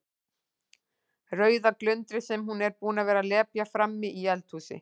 Rauða glundrið sem hún er búin að vera að lepja frammi í eldhúsi.